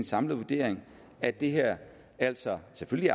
samlet vurdering at det her altså selvfølgelig